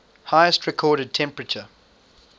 highest recorded temperature